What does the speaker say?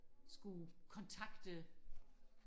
skulle kontakte